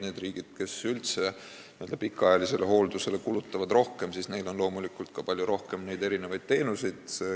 Nendes riikides, kus üldse n-ö pikaajalisele hooldusele kulutatakse rohkem, on loomulikult ka palju rohkem neid teenuseid.